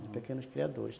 De pequenos criadores.